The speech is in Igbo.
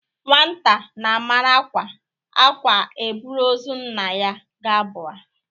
Nwata na amara ákwá ákwá e buru ozu nna ya gabuo a